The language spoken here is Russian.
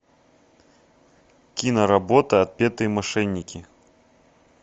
киноработа отпетые мошенники